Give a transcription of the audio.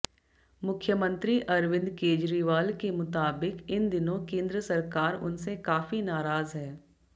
मुख्यमंत्री अरविंद केजरीवाल के मुताबिक इन दिनों केंद्र सरकार उनसे काफी नाराज है